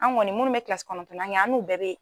An kɔni munnu bɛ kilasi kɔnɔntɔnnan kɛ an n'u bɛɛ bɛ.